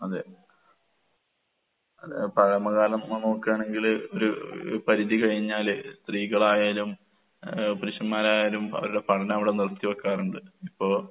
അതെ. അതെ പഴമ കാലം നമ്മള് നോക്ക്കാണെങ്കില് ഒരൂ പരിധി കഴിഞ്ഞാല് സ്ത്രീകളായാലും ഏഹ് പുരുഷന്മാരായാലും അവർടെ പഠനം അവടെ നിർത്തി വെക്കാറുണ്ട്. ഇപ്പോ